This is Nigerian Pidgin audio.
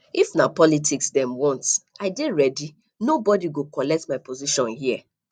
if na politics dem want i dey ready nobodi go collect my position here